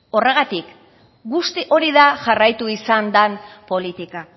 horregatik guzti hori da jarraitu izan den politika